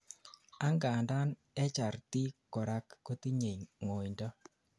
angandan HRT korak kotinyei ngoindo